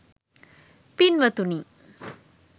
පින්වතුනි,